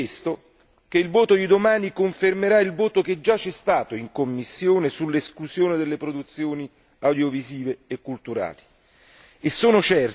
Sono pertanto certo che il voto di domani confermerà il voto che c'è stato in commissione sull'esclusione delle produzioni audiovisive e culturali.